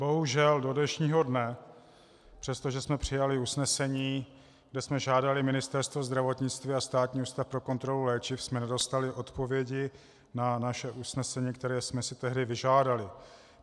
Bohužel do dnešního dne, přestože jsme přijali usnesení, kde jsme žádali Ministerstvo zdravotnictví a Státní ústav pro kontrolu léčiv, jsme nedostali odpovědi na naše usnesení, které jsme si tehdy vyžádali.